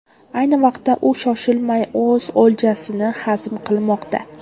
Ayni vaqtda u shoshilmay o‘z o‘ljasini hazm qilmoqda.